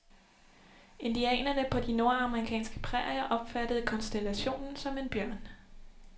Indianerne på de nordamerikanske prærier opfattede konstellationen som en bjørn.